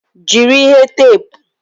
Jiri ihe teepu!